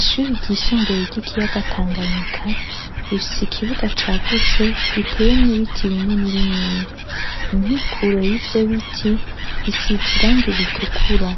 Ishure ryisumbuye ry'ikiuaga tanga nyika rifise ikibuga cagutse giteyemwo ibiti bininibinini inkikuro y'ivyo biti isize irangi ritukura